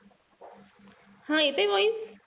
हा येतेय voice?